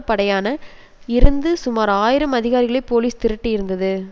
படையான இருந்து சுமார் ஆயிரம் அதிகாரிகளை போலீஸ் திரட்டியிருந்தது